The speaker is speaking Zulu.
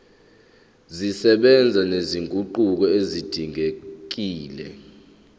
zisebenza nezinguquko ezidingekile